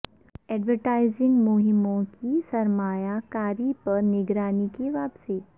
advertising مہموں کی سرمایہ کاری پر نگرانی کی واپسی